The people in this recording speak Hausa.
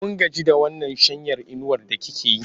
Mun gaji da wannan shanyar inuwar da like yi.